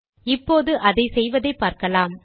இப்போது அதை செய்வதை பார்க்கலாம்